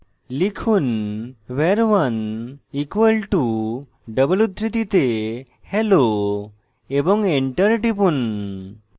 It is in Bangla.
লিখুন var1 = double উদ্ধৃতিতে hello এবং enter টিপুন